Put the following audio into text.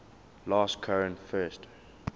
last cohen first